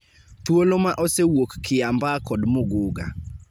Thuolo ma osewuok Kiambaa kod Muguga